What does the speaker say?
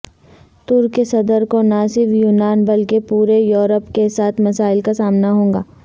ترک صدر کو نہ صرف یونان بلکہ پورے یوروپ کیساتھ مسائل کا سامنا ہوگا